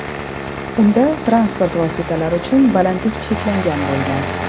Unda transport vositalari uchun balandlik cheklangan bo‘lgan.